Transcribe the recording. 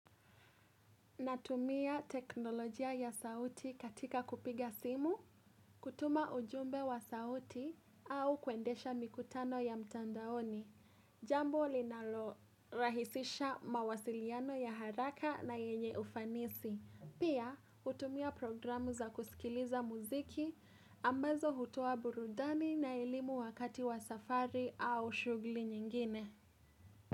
Natumia teknolojia ya sauti katika kupiga simu, kutuma ujumbe wa sauti au kuendesha mikutano ya mtandaoni. Jambo linalo rahisisha mawasiliano ya haraka na yenye ufanisi. Pia hutumia programu za kusikiliza muziki ambazo hutua burudani na elimu wakati wa safari au shughuli nyingine.